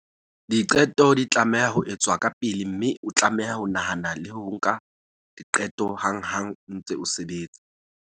"Diqeto di tlameha ho etswa kapele mme o tlameha ho nahana le ho nka diqeto hanghang o ntse o sebetsa".